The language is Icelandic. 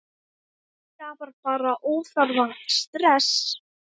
Það skapar bara óþarfa stress.